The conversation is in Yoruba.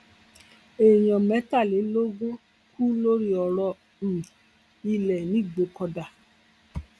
èèyàn mẹtàlélógún kú lórí ọrọ um ilé nìgbòkọdá